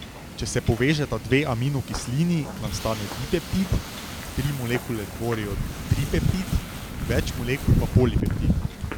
Če se povežeta dve aminokislini, nastane dipeptid, tri molekule tvorijo tripeptid, več molekul pa polipeptid.